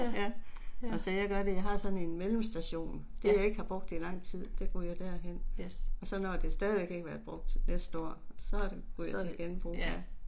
Ja. Ja. Yes. Så, ja